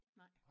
Nej